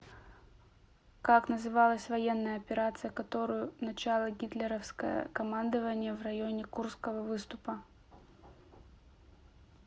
как называлась военная операция которую начало гитлеровское командование в районе курского выступа